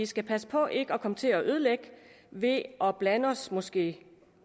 skal passe på ikke at komme til at ødelægge ved at blande os måske